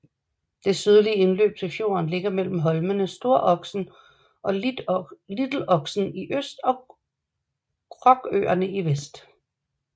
Det sydlige indløb til fjorden ligger mellem holmene Storoksen og Litloksen i øst og Krokøerne i vest